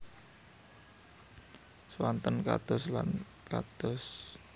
Swanten kados lan kados